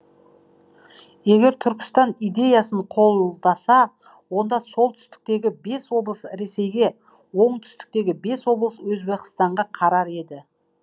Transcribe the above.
егер түркістан идеясын қолдаса онда солтүстіктегі бес облыс ресейге оңтүстіктегі бес облыс өзбекстанға қарар еді